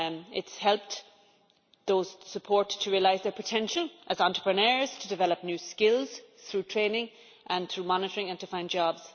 It has helped those they support to realise their potential as entrepreneurs, to develop new skills through training and monitoring and to find jobs.